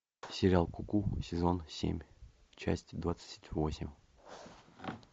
сериал куку сезон семь часть двадцать восемь